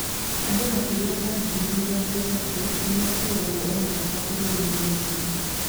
Andũ makĩria ma 30,000 nĩ makuagwo o mwaka bũrũri-inĩ ũcio.